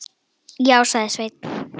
Já, sagði Sveinn.